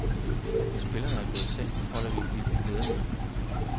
Når spillerne er gået i seng, holder vi et lille ledermøde.